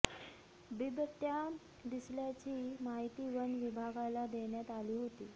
बिबटया दिसल्याची माहिती वन विभागाला देण्यात आली होती